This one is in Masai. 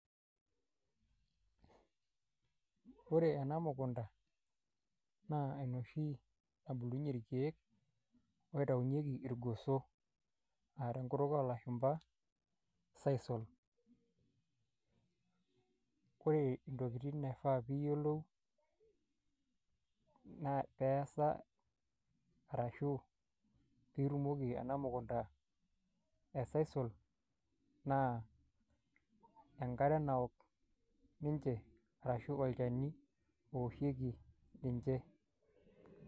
Ore ena mukunda naa enoshi nabulunye irkeek naitaunyeki irgoso naa te nkutuk olashumba sisal. Ore ntokitin naifaa piiyolou naa peesa arashu piitumoki ena mukunda e sisal naa enkare nawok ninje arashu olchani owoshieki ninche.